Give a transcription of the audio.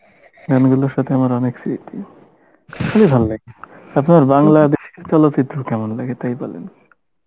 গানগুলোর সাথে আমার অনেক স্মৃতি আপনার বাংলাদেশের চলচিত্র কেমন লাগে তাই বলেন